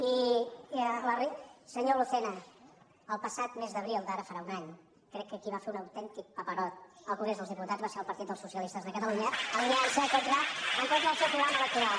i senyor lucena el passat mes d’abril d’ara farà un any crec que qui va fer un autèntic paperot al congrés dels diputats va ser el partit dels socialistes de catalunya alineant se en contra del seu programa electoral